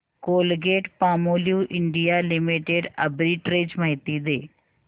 Colgate Palmolive India limited arbitrage माहिती दे